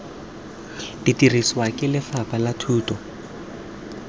dirisiwa ke lefapha la thuto